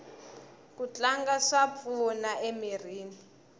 ku tlanga swa pfuna emirini